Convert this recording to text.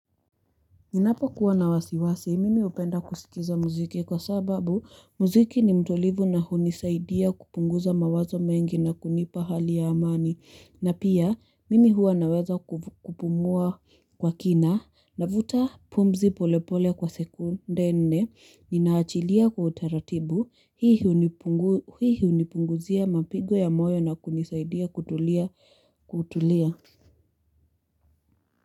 Ninapokuwa na wasiwasi mimi upenda kusikiza muziki kwa sababu muziki ni mtolivu na hunisaidia kupunguza mawazo mengi na kunipa hali ya amani na pia mimi huwa naweza kupungua kwa kina navuta pumzi polepole kwa sekunde nne ninaachilia kwa utaratibu hii hii hunipunguzia mapigo ya moyo na kunisaidia kutulia kutulia.